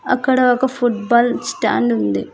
అక్కడ ఒక football stand ఉంది.